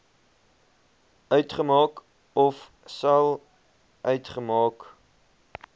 uitmaak ofsal uitmaak